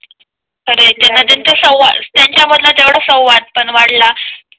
खरा आहे त्यांना त्यांचा संव त्यांच्या मधला तेवढा संवाद पण वाढला